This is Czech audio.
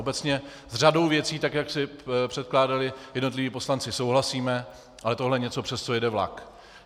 Obecně s řadou věcí, tak jak je překládali jednotliví poslanci, souhlasíme, ale tohle je něco, přes co jede vlak.